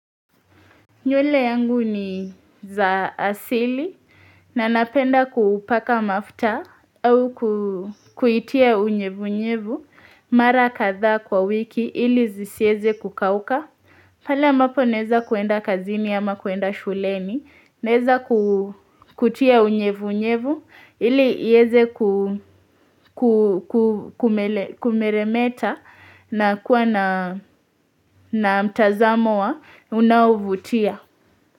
Nywele yangu ni za asili, na napenda kuupaka mafuta au kuitia unyevu unyevu mara kadhaa kwa wiki ili zisieze kukauka. Pala ambapo naeza kwenda kazini ama kwenda shuleni naeza ku kutia unyevu unyevu ili ieze ku, ku, kumeremeta na kuwa na, na, mtazamo wa unaonavutia.